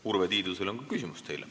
Urve Tiidusel on teile küsimus.